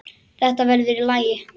Þetta verður í lagi.